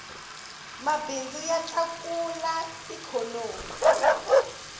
mabindzu ya tlakula ikhonomi